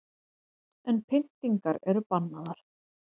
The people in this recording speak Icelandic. En pyntingar eru bannaðar